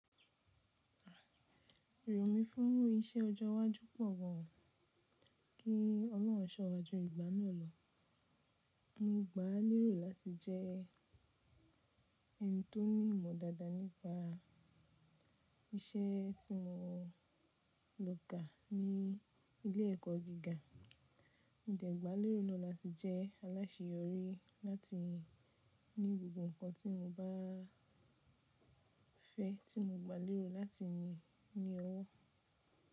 Irò mí fún iṣẹ́ ọjọ́ iwájú pọ̀ gan an, kí Ọlọ́run ṣọ́ wá jú ìgbà náà lọ. Mo gbá lérò láti jẹ́ ẹni tó ní ìmọ̀ dáadáa nípa iṣẹ́ tí mo lọ kà ní ilé ẹ̀kọ́ gíga. Mo dẹ̀ gbà lérò na latí jẹ́ aláṣeyọrí láti ní gbogbo nǹkan tí mo bá fẹ́ tí mo gbà lérò láti ní owó.